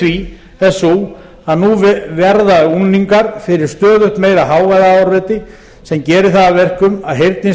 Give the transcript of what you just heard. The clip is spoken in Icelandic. því er sú að nú verða unglingar fyrir stöðugt meira hávaðaáreiti sem gerir það að verkum að heyrnin